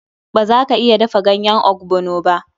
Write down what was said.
Ba za ka iya dafa ɗanyen ogbono ba.